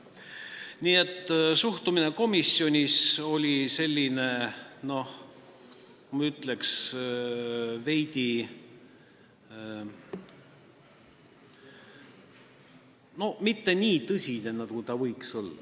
Nii et suhtumine komisjonis oli, ma ütleksin, mitte nii tõsine, nagu võinuks olla.